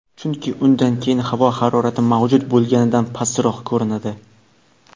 chunki undan keyin havo harorati mavjud bo‘lganidan pastroq ko‘rinadi.